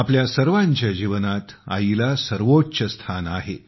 आपल्या सर्वांच्या जीवनात 'आई'ला सर्वोच्च स्थान आहे